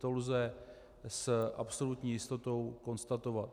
To lze s absolutní jistotou konstatovat.